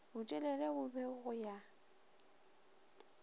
botelele bo be go ya